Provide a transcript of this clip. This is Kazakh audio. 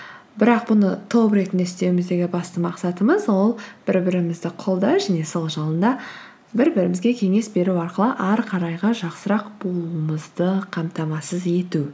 бірақ бұны топ ретінде істеуіміздегі басты мақсатымыз ол бір бірімізді қолдау және сол жолында бір бірімізге кеңес беру арқылы әрі қарайғы жақсырақ болуымызды қамтамасыз ету